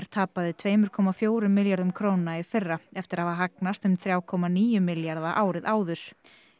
tapaði tveimur komma fjögur milljörðum króna í fyrra eftir að hafa hagnast um þrjá komma níu milljarða króna árið áður